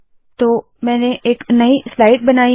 तो मैंने एक नई स्लाइड बनाई है